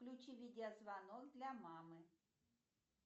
включи видеозвонок для мамы